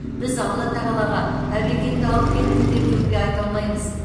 біз алла тағалаға әбекеңді алып кеттің деп өкпе айта алмаймыз